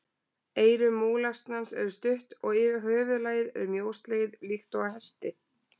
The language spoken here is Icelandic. Eyru múlasnans eru stutt og höfuðlagið er mjóslegið líkt og á hesti.